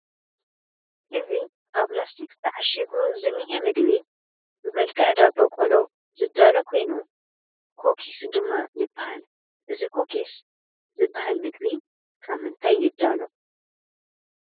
እዚ ኣብ ላስቲክ ተዓሺጉ ዝኒሀ ምግቢ ብመልክዕ ዳቦ ቆሎ ዝዳሎ ኮይኑ ኩኪስ ድማ ይበሃል፡፡ እዚ ኩኪስ ዝበሃል ምግቢ ካብ ምንታይ ይዳሎ?